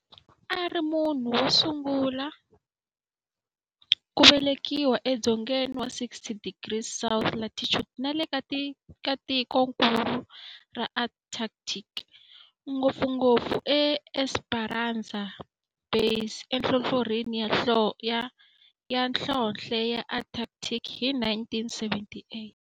A ri munhu wosungula ku velekiwa e dzongeni wa 60 degrees south latitude nale ka tikonkulu ra Antarctic, ngopfungopfu e Esperanza Base enhlohlorhini ya nhlonhle ya Antarctic hi 1978.